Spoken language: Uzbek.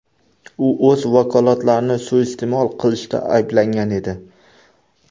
U o‘z vakolatlarini suiiste’mol qilishda ayblangan edi.